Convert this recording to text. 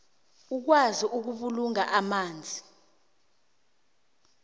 ukwazi ukubulunga amanzi